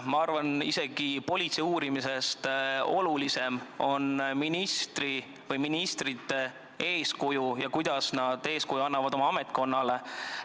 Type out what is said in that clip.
Ma arvan, et politsei uurimisest olulisem on see, millist eeskuju ministrid annavad oma ametkonnale.